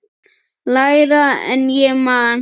Lægra en ég man.